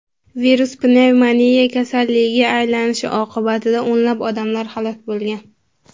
Virus pnevmoniya kasalligiga aylanishi oqibatida o‘nlab odamlar halok bo‘lgan.